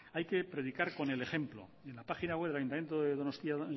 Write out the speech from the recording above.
hay que predicar con el ejemplo en la página web del ayuntamiento de donostia